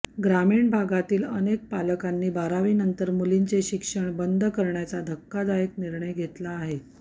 ग्रामीण भागातील अनेक पालकांनी बारावीनंतर मुलींचे शिक्षण बंद करण्याचा धक्कादायक निर्णय घेतला आहे